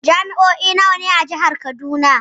Jami'o'i nawa ne a Jihar Kaduna?